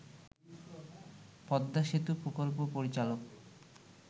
পদ্মা সেতু প্রকল্প পরিচালক